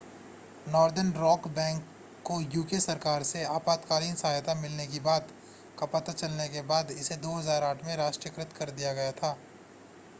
northern Rock bank को UK सरकार से आपातकालीन सहायता मिलने की बात का पता चलने के बाद इसे 2008 में राष्ट्रीयकृत कर दिया गया था